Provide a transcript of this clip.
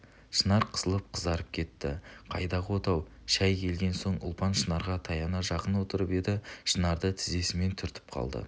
шынар қысылып қызарып кетті қайдағы отау шай келген соң ұлпан шынарға таяна жақын отырып еді шынарды тізесімен түртіп қалды